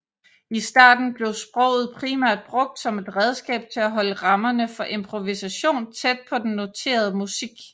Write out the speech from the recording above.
I starten blev sproget primært brugt som et redskab til at holde rammerne for improvisation tæt på den noterede musik